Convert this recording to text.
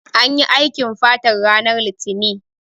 Anyi aikin fatar ranar litinin